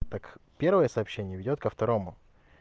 так первое сообщение ведёт ко второму